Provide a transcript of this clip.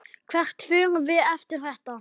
Hvert förum við eftir þetta?